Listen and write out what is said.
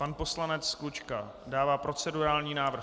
Pan poslanec Klučka dává procedurální návrh.